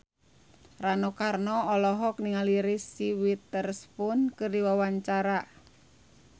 Rano Karno olohok ningali Reese Witherspoon keur diwawancara